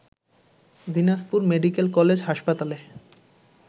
Dinajpur medical college হাসপাতালে